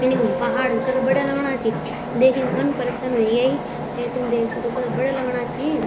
मीनिंग पहाड़ कथा बढ़िया लगना छी देखिक मन प्रसन्न वे ग्यायी यख तुम देख सक्दो कथा बढ़िया लगना छी।